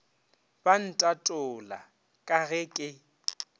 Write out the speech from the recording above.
ba ntatola ka ge ke